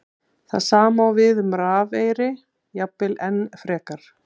Það sama á við um rafeyri, jafnvel enn frekar.